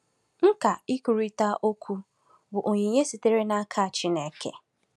Nkà ikwurịta okwu bụ onyinye sitere n’aka Chineke.